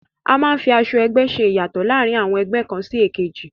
A máa ń fi aṣọ ẹgbẹ́ ṣe ìyàtọ̀ láàrin àwọn ẹgbẹ́ kàn sí èkejì